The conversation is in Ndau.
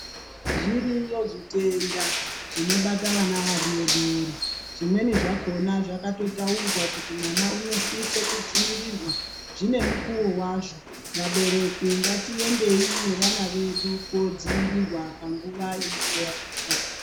Zviriyo zvitenda zvinobata vana vadoodori. Zvimweni zvakona zvakatotaurwa kuti mwana unosiso kudziirirwa. Zvine mukuwo wazvo. Vabereki ngatiendei nevana vedu kuodzivirirwa panguva inenge yasvika.